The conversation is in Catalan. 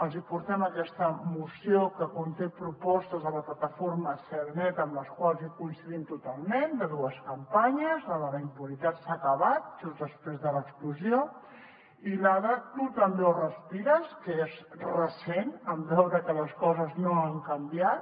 els hi portem aquesta moció que conté propostes de la plataforma cel net amb les quals hi coincidim totalment de dues campanyes la de la impunitat s’ha acabat just després de l’explosió i la de tu també ho respires que és recent en veure que les coses no han canviat